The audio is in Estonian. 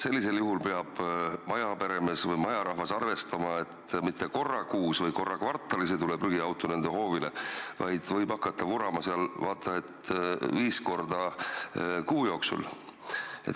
Sellisel juhul peab majarahvas arvestama, et mitte korra kuus või korra kvartalis ei tule prügiauto nende hoovile, vaid võib hakata vurama seal vaata et viis korda kuu jooksul.